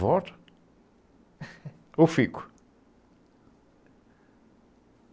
Volto ou fico?